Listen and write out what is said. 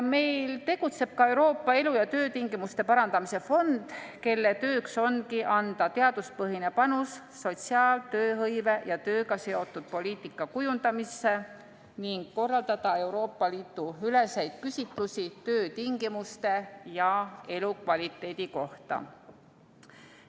Meil tegutseb ka Euroopa elu- ja töötingimuste parandamise fond, kelle tööks ongi anda teaduspõhine panus sotsiaal-, tööhõive- ja tööga seotud poliitika kujundamisse ning korraldada Euroopa Liidu üleseid küsitlusi töötingimuste ja elukvaliteedi kohta.